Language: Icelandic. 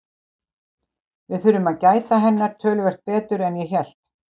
Við þurfum að gæta hennar töluvert betur en ég hélt.